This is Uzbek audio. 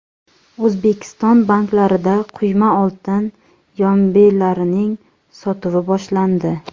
O‘zbekiston banklarida quyma oltin yombilarining sotuvi boshlandi.